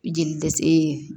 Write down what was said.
Jeli dɛsɛ e